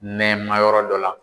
Nɛma yɔrɔ dɔ la.